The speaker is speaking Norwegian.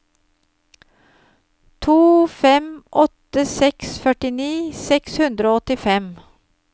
to fem åtte seks førtini seks hundre og åttifem